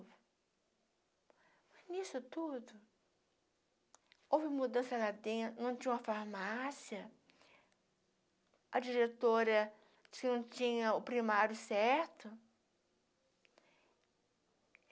Mas, nisso tudo, houve mudança lá dentro, não tinha uma farmácia, a diretora disse que não tinha o primário certo.